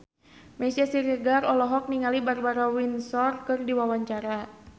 Meisya Siregar olohok ningali Barbara Windsor keur diwawancara